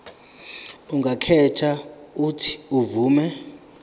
angakhetha uuthi avume